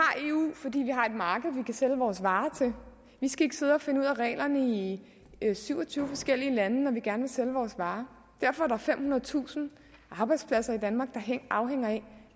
eu fordi vi har et marked vi kan sælge vores varer til vi skal ikke sidde og finde ud af reglerne i syv og tyve forskellige lande når vi gerne vil sælge vores varer derfor er der femhundredetusind arbejdspladser i danmark der afhænger af